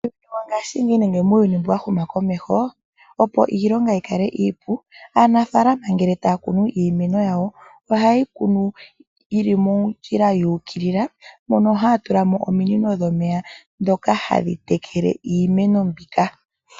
Mongaashingeyi nenge muuyuni mbuwashuna komeho, opo iilonga yikale iipu aanafaalama ngele taakunu iimeno yawo ohayeyi kunu yili mondjila yuukilila mono haatulamo ominino dhomeya ndhono hadhi tekele iimiine mbika.